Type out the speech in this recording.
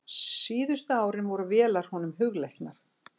Síðustu árin voru vélar honum mjög hugleiknar.